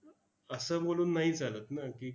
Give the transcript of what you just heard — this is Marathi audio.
असं बोलून नाही चालत ना की,